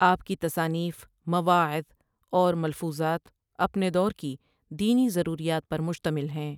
آپ کی تصانیف ، مواعظ اور ملفوظات اپنے دور کی دینی ضروریات پر مشتمل ہیں ۔